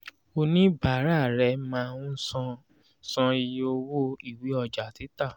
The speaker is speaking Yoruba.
oníbàárà rẹ máa ń san san iye owó ìwé ọjà títà